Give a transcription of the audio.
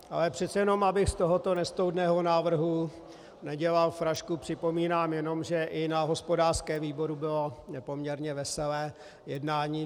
Ale přece jenom, abych z tohoto nestoudného návrhu nedělal frašku, připomínám jenom, že i na hospodářském výboru bylo poměrně veselé jednání.